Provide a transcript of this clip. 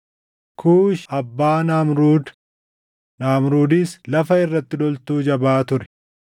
Kuushi abbaa Naamruud; Naamruudis lafa irratti loltuu jabaa taʼe.